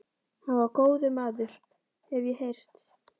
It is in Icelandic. Hann var góður maður, hef ég heyrt